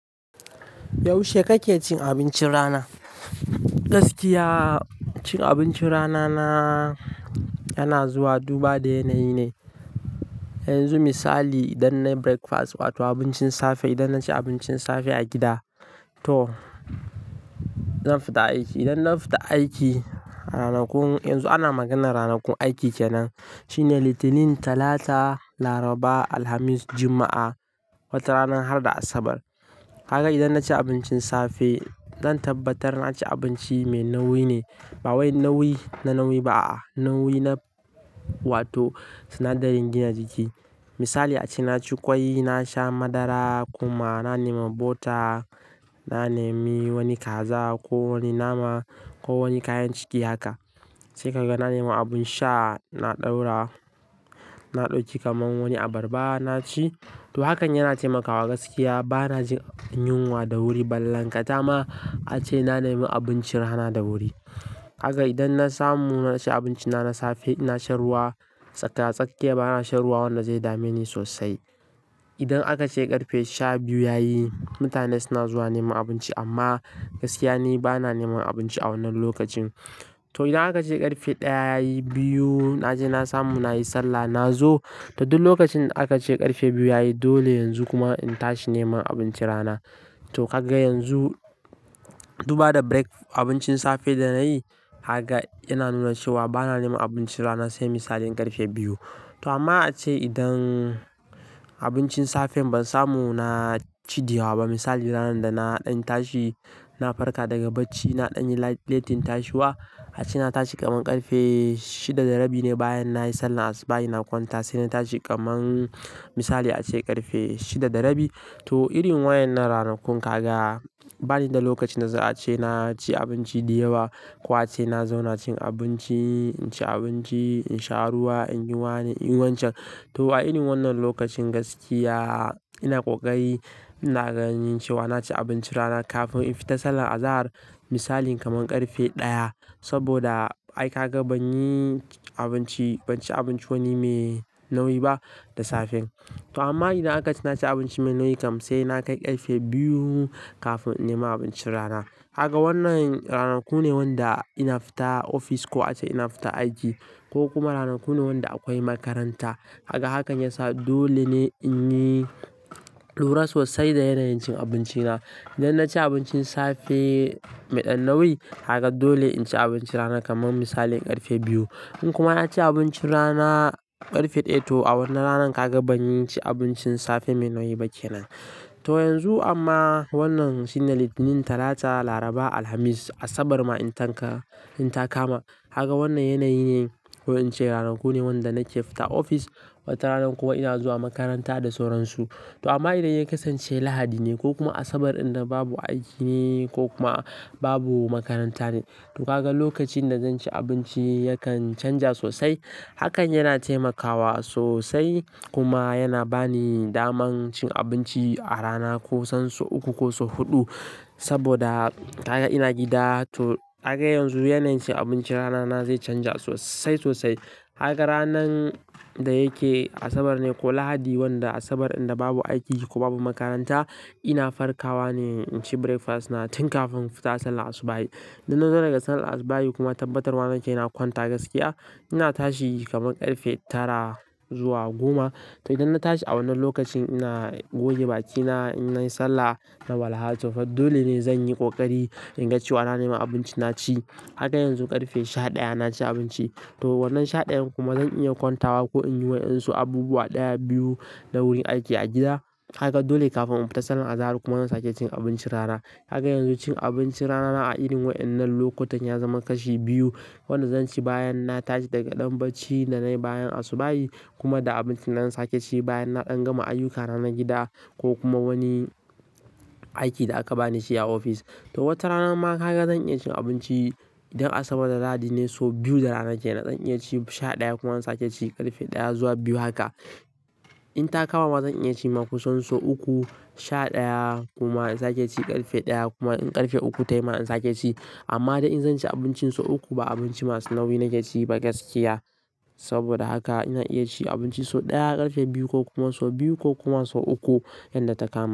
Yaushe kake cin abincin rana? Gaskiya, cin abincin rana na, yana zuwa duba da yanayi ne. Yanzu misali idan na yi breakfast wato abincin safe, idan na ci abincin safe a gida to zan fita aiki. Idan na fita aiki, ranakun, yanzu ana maganar ranakun aiki kenan. Shine Litinin, Talata, Laraba, Alhamis, Juma'a wata ranar har da Asabar. Kaga idan na ci abincin safe, zan tabbatar na ci abinci mai nauyi ne. Ba wai nauyi na nauyi ba, nauyi na wato sinadarin gina jiki. Misali ace na ci ƙwai, na sha madara, kuma na nema bota, na nemi wani kaza ko wani nama ko wani kayan ciki haka. Sai kaga na nema abin sha, na ɗaura, na ɗauki kamar wani abarba na ci. To hakan yana taimakawa gaskiya. Ba na jin yunwa da wuri balankata ma ace na nema abincin rana da wuri. Kaga idan na samu na ci abincina na safe, ina shan ruwa. Tsaka, tsakiya ba na shan ruwa wanda zai dame ni sosai. Idan aka ce ƙarfe sha biyu yayi, mutane suna zuwa nema abinci amma gaskiya ni ba na nema abinci a wannan lokacin. To idan aka ce ƙarfe ɗaya yayi, biyu, naje na samu na yi sallah, nazo. To duk lokacin aka ce ƙarfe biyu yayi dole yanzu kuma in tashi nema abincin rana. To kaga yanzu duba da break, abincin safe da na yi, kaga yana nuna cewa ba na nema abincin rana sai misalin ƙarfe biyu. To amma ace idan abincin safe ban samu naci da yawa ba, misali ranar da na ɗan tashi, na farka daga bacci, na ɗan yi latin tashiwa. Ace na tashi kaman ƙarfe shida da rabi ne bayan na yi sallar asubahi na kwanta, sai na tashi kaman misali ace ƙarfe shida da rabi. To irin wayannan ranakun kaga bani da lokacin da za a ce na ci abinci da yawa ko a ce na zauna cin abinci, in ci abinci, in sha ruwa, in yi wani inyi wancan. To a irin wannan lokacin gaskiya ina ƙoƙari, ina ganin cewa na ci abincin rana kafin in fita sallar azahar. Misali kaman ƙarfe ɗaya. Saboda ai kaga ban yi abinci, ban ci abinci wani mai nauyi ba da safe. To amma idan aka ce na ci abinci mai nauyi kam sai na kai ƙarfe biyu kafin in nema abincin rana. Haka wannan ranaku ne wanda ina fita ofis ko ace ina fita aiki ko kuma ranaku ne wanda akwai makaranta. Kaga hakan ya sa dole ne in yi lura sosai da yanayin cin abinci na. Idan na ci abincin safe me ɗan nauyi, kaga dole in ci abinci rana kaman misalin ƙarfe biyu. In kuma na ci abincin rana ƙarfe ɗaya to a wannan ranar kaga banci abincin safe mai nauyi ba kenan. To yanzu amma wannan shine Litinin, Talata, Laraba, Alhamis, Asabar ma in tanka, in ta kama. Kaga wannan yanayi ne ko in ce ranaku ne wanda nake fita ofis wata ranar kuma ina zuwa makaranta da sauran su. To amma idan ya kasance Lahadi ne ko kuma Asabar ɗanda babu aiki ne ko kuma babu makaranta ne, to kaga lokacin da zan ci abinci yakan canja sosai. Hakan yana taimakawa sosai kuma yana ba ni damar cin abinci a rana kusan so uku ko so huɗu. Saboda kaga ina gida, to kaga yanzu yanayin cin abinci rana na zai canja sosai sosai. Kaga ranan da yake Asabar ne ko Lahadi wanda Asabar ɗin da babu aiki ko babu makaranta, ina farkawa ne in ci breakfast na tun kafin in fita sallar asubahi. Duk na dawo daga sallar asubahi kuma tabbatarwa nake na kwanta gaskiya, ina tashi kaman ƙarfe tara zuwa goma. To idan na tashi a wannan lokacin ina goge bakina, in nayi sallah, na walha To fa dole ne zan yi ƙoƙari in ga cewa na nema abinci na ci. Haka yanzu ƙarfe sha ɗaya na ci abinci. To wannan sha ɗayan kuma zan iya kwantawa ko in yi wa ɗansu abubuwa ɗaya, biyu na wurin aiki a gida. Kaga dole kafin in fita sallar azahar kuma zan sake cin abincin rana. Kaga yanzu cin abincin rana na a irin wayannan lokutan ya zama kashi biyu. Wanda zan ci bayan na tashi daga ɗan bacci da nayi bayan asubahi kuma da abinci na zan sake ci bayan na ɗan gama ayukkana na gida ko kuma wani aiki da aka ba ni shi a ofis. To wata rana ma kaga zan iya cin abinci idan Asabar da Lahadi ne so biyu da rana kenan. Zan iya ci sha ɗaya kuma in sake ci ƙarfe ɗaya zuwa biyu haka. In ta kama zan iya ci ma kusan so uku, sha ɗaya kuma in sake ci ƙarfe ɗaya kuma in ƙarfe uku tayi ma in sake ci. Amma dai in zan ci abincin so uku, ba abinci masu nauyi nake ci ba gaskiya. Saboda haka ina iya ci abinci so ɗaya ƙarfe biyu ko kuma so biyu ko kuma so uku yanda ta kama.